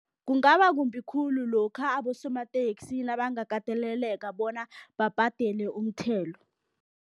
Kungaba kumbi khulu lokha abosomateksi nabangakateleleka bona babhadele umthelo.